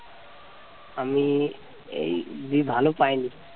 আমি এই খুব ভালো পাইনি